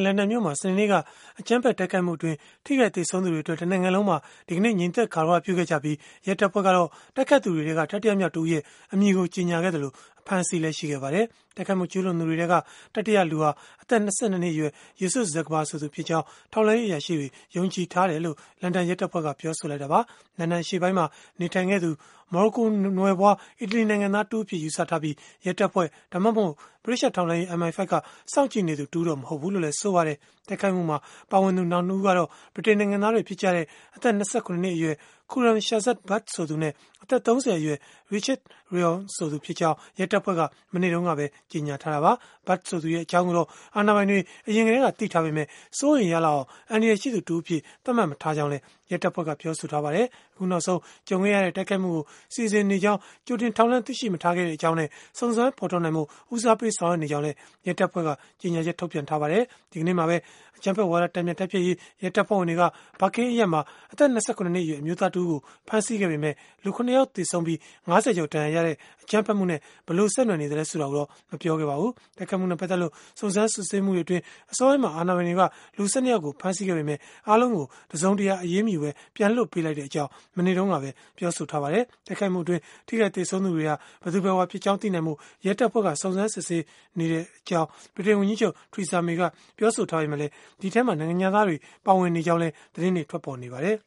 လန်ဒန်မြို့မှာ စနေနေ့က အကြမ်းဖက်တိုက်ခိုက်မှုအတွင်း ထိခိုက်သေဆုံးသူတွေကို ရည်စူးပြီး၊ ဗြိတိန်နိုင်ငံ တနိုင်ငံလုံးမှာ ဒီကနေ့ ငြိမ်သက် ဂါရဝပြုခဲ့ကြပြီး၊ ရဲတပ်ဖွဲ့ကတော့ တိုက်ခိုက်သူတွေထဲက တတိယမြောက်တဦးရဲ့ အမည်ကို ကြေညာခဲ့သလို၊ အဖမ်းအဆီးလည်း ရှိခဲ့ပါတယ်။ တိုက်ခိုက်မှု ကျုးလွန်သူတွေထဲက တတိယလူဟာ အသက် ၂၂ နှစ်အရွယ် Youssef Zaghba ဆိုသူဖြစ်ကြောင်း ထောက်လှမ်းရေး အရာရှိတွေက ယုံကြည်ထားတယ်လို့ လန်ဒန်ရဲတပ်ဖွဲ့က ပြောဆိုလိုက်တာပါ။ လန်ဒန်အရှေ့ပိုင်းမှာ နေထိုင်ခဲ့သူ မော်ရိုကိုနွယ်ဖွား အီတလီနိုင်ငံသားတဦးအဖြစ် ယူဆထားပြီး၊ ရဲတပ်ဖွဲ့ ဒါမှမဟုတ် ဗြိတိသျှထောက်လှမ်းရေး MI-5 က စောင့်ကြည့်နေသူတဦးတော့ မဟုတ်ဘူးလို့လည်း ဆိုပါတယ်။ တိုက်ခိုက်မှုမှာ ပါဝင်သူ နောက် ၂ ဦးကတော့ ဗြိတိန်နိုင်ငံသားတွေ ဖြစ်ကြတဲ့ အသက် ၂၇ နှစ်အရွယ် Khuram Shazad Butt ဆိုသူနဲ့ အသက် ၃၀ အရွယ် Rachid Reouane ဆိုသူဖြစ်ကြောင်း ရဲတပ်ဖွဲ့က မနေ့တုန်းကပဲ ကြေညာထားတာပါ။ အခုနောက်ဆုံး တိုက်ခိုက်မှုကို စီစဉ်နေကြောင်း ထောက်လှမ်းရေးသတင်း ကြိုတင်ရရှိခဲ့တာမျိုး မရှိခဲ့ကြောင်းနဲ့ စုံစမ်းဖော်ထုတ်နိုင်ဖို့ ဦးစားပေး ဆောင်ရွက်နေကြောင်းလည်း ရဲတပ်ဖွဲ့က ကြေညာချက်ထုတ်ပြန်ခဲ့ပါတယ်။ ဒီကနေ့မှာပဲ အကြမ်းဝါဒ တန်ပြန်တိုက်ဖျက်ရေး ရဲတပ်ဖွဲ့ဝင်တွေက Barking အရပ်မှာ အသက် ၂၇ နှစ်အရွယ် အမျိုးသားတဦးကို ဖမ်းဆီးခဲ့ပေမယ့်၊ လူ ၇ ယောက် သေဆုံးပြီး ၅၀ ကျော် ဒဏ်ရာရခဲ့တဲ့ အကြမ်းဖက်တိုက်ခိုက်မှုနဲ့ ဘယ်လို ဆက်နွယ်နေသလဲ ဆိုတာကိုတော့ မပြောပါဘူး။ တိုက်ခိုက်မှုနဲ့ ပတ်သက်လို့ စုံစမ်းစစ်ဆေးမှုတွေအတွင်း အစောပိုင်းမှာ အာဏာပိုင်တွေက လူ ၁၂ ယောက်ကို ဖမ်းဆီးခဲ့ပေမယ့်၊ အားလုံးကို တစုံတရာ အရေးမယူပဲ ပြန်လွှတ်ပေးလိုက်ကြောင်း မနေ့တုန်းကပဲ ပြောဆိုခဲ့ပါတယ်။ တိုက်ခိုက်မှုအတွင်း ထိခိုက်သေဆုံးသူတွေဟာ ဘယ်သူဘယ်ဝါဖြစ်ကြောင်း သိနိုင်ဖို့ ရဲတပ်ဖွဲ့က စုံစမ်းနေဆဲဖြစ်ကြောင်း ဗြိတိန်ဝန်ကြီးချုပ် Theresa May က ပြောဆိုထားပေမယ့်၊ ဒီအထဲမှာ နိုင်ငံခြားသားတွေ ပါဝင်နေကြောင်းလည်း သတင်းတွေ ထွက်ပေါ်နေပါတယ်